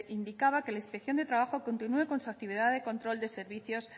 indicaba que la inspección de trabajo continúe con su actividad de control